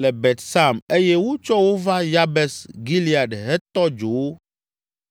le Bet Sam eye wotsɔ wo va Yabes Gilead hetɔ dzo wo.